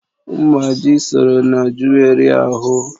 Mgbáji sọrọ na juweri ahu